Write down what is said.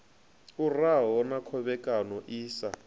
uraho na khovhekano i sa